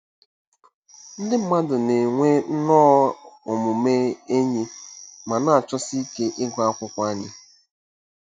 Ndị mmadụ na-enwe nnọọ omume enyi ma na-achọsi ike ịgụ akwụkwọ anyị.